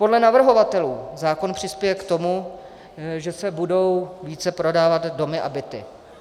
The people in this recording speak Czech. Podle navrhovatelů zákon přispěje k tomu, že se budou více prodávat domy a byty.